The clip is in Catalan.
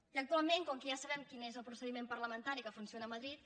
i actualment com que ja sabem quin és el procediment parlamentari que funciona a madrid